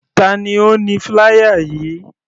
Tani ó ni flier yìí?